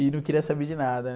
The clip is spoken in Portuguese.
E não queria saber de nada, né?